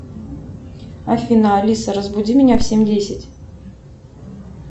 афина алиса разбуди меня в семь десять